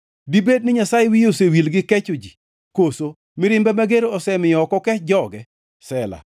Dibed ni Nyasaye wiye osewil gi kecho ji? Koso mirimbe mager osemiyo ok okech joge?” Sela